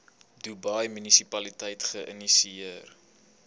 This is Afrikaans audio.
dubai munisipaliteit geïnisieer